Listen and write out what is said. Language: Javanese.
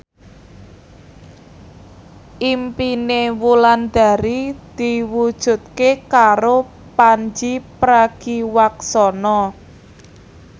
impine Wulandari diwujudke karo Pandji Pragiwaksono